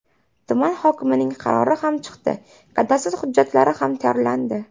Tuman hokimining qarori ham chiqdi, kadastr hujjatlari ham tayyorlandi.